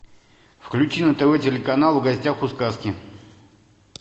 включи на тв телеканал в гостях у сказки